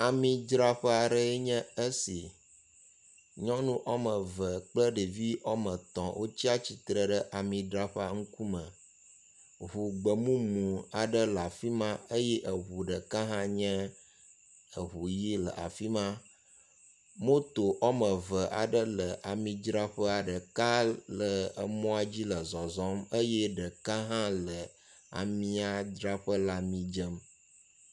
Amidzraƒe aɖee nye esi. Nyɔnu wɔme eve kple ɖevi wɔme etɔ̃ wotsi atsitre ɖe amidzraƒea ŋkume. Ŋu gbemumu aɖe le afi ma eye eŋu ɖeka hã nye eŋu ʋi le afi ma. Moto wɔme eve aɖe le amidraƒea ɖeka le emɔa dzi le zɔzɔm eye ɖeka hã le amiadraƒe le ami dzem.